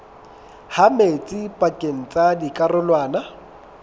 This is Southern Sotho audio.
ha metsi pakeng tsa dikarolwana